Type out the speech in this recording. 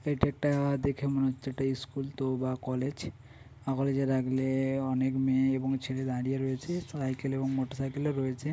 এটা একটা দেখে মনে হচ্ছে একটা স্কুল তো বা কলেজ । আ কলেজ এর আগলে অনেক মেয়ে এবং ছেলে দাঁড়িয়ে রয়েছে। স সাইকেল এবং মোটর সাইকেল -ও রয়েছে।